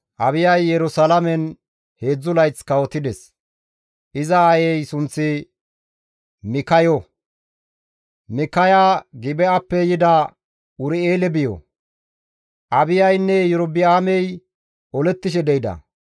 Abiyay Yerusalaamen heedzdzu layth kawotides. Iza aayey sunththi Mikkayo; Mikkaya Gibi7appe yida Ur7eele biyo. Abiyaynne Iyorba7aamey olettishe de7ida.